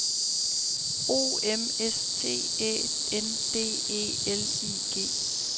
O M S T Æ N D E L I G